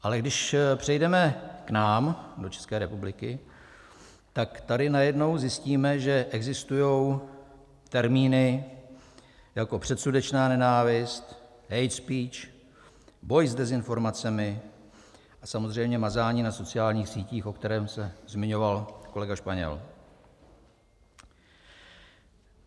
Ale když přejdeme k nám do České republiky, tak tady najednou zjistíme, že existují termíny jako předsudečná nenávist, hate speech, boj s dezinformacemi a samozřejmě mazání na sociálních sítích, o kterém se zmiňoval kolega Španěl.